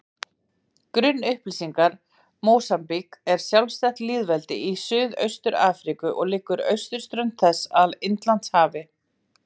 Grunnupplýsingar Mósambík er sjálfstætt lýðveldi í Suðaustur-Afríku og liggur austurströnd þess að Indlandshafi.